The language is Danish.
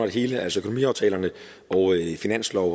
et hele altså økonomiaftalerne finanslov